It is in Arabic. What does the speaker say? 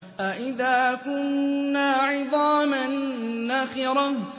أَإِذَا كُنَّا عِظَامًا نَّخِرَةً